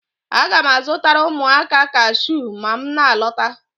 Aga m azụtara ụmụaka kashiu ma m na-alọta